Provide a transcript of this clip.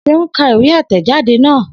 Seun ka ìwé àtẹ̀jadé náà